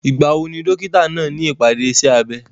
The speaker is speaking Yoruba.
Ìgbà wo ni dókítà náà ní ìpàdé iṣẹ́ abẹ?